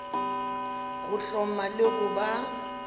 go hloma le go ba